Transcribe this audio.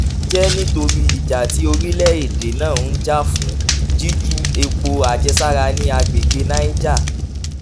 èyí jẹ́ nítorí ìjà tí orílẹ̀-èdè náà ń jà fún jíjù epo àjẹsára ní àgbègbè niger